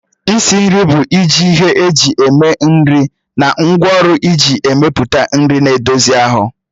Isi nri bụ iji ihe eji eme nri na ngwaọrụ iji mepụta nri na-edozi ahụ